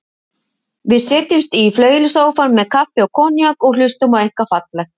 Við setjumst í flauelssófann með kaffi og konjak og hlustum á eitthvað fallegt.